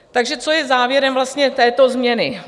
Takže co je závěrem vlastně této změny?